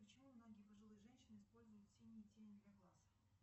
почему многие пожилые женщины используют синие тени для глаз